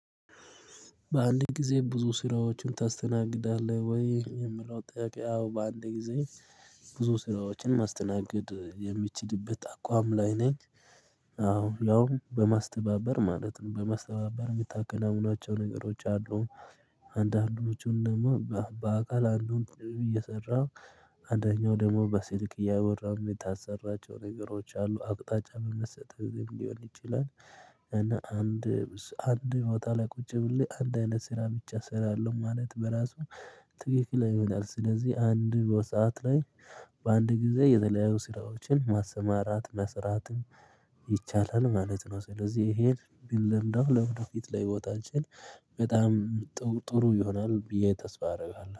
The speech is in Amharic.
በአንድ ጊዜ ብዙ ስራዎችን ታስተናግዳለህ ወይ የሚለው ጥያቄ? አዎ በአንድ ጊዜ ብዙ ስራዎችን ማስተናገድ የምችልበት አቋም ላይ ነኝ። አዎ ሊያውም በማስተባበር ማለት ነው በማስተባበር የምታከናውኗቸው ነገሮች አሉን። አንዳንዶቹን ደግሞ በአካል አንዱን እየሰራሁ አንደኛው ደግሞ በስልክ እያወራሁ የምታሰራቸው ነገሮች አሉ አቅጣጫ በመሰጠት ሊሆን ይችላል። እና አንድ አንድ ቦታ ላይ ቁጭ ብዬ አንድ አይነት ስራ ብቻ እሰራለሁ ማለት በራሱ ትክክል አይመጣም። ስለዚህ አንድ ሰዓት ላይ በአንድ ጊዜ የተለያዩ ስራዎችን ማሰማራት መስራትም ይቻላል ማለት ነው። ስለዚህ ይሄን ቢለምደው ለወደፊት ለህይወታችን በጣም ጥሩ ጥሩ ይሆናል ብዬ ተስፋ አደርጋለሁ